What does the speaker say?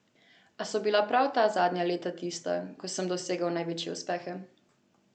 A so bila prav ta zadnja leta tista, ko sem dosegel največje uspehe.